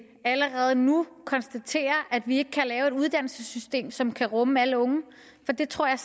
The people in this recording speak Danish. allerede nu konstaterer at vi ikke kan lave et uddannelsessystem som kan rumme alle unge for det tror jeg